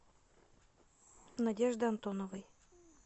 надежды антоновой